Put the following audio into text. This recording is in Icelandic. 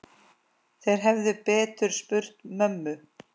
Þeir hefðu betur spurt mömmu.